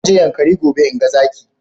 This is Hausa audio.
Zan je yankari a Bauchi in ga zaki.